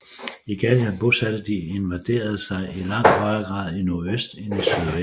I Gallien bosatte de invaderende sig i langt højere grad i nordøst end i sydvest